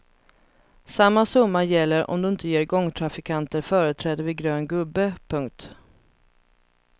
Samma summa gäller om du inte ger gångtrafikanter företräde vid grön gubbe. punkt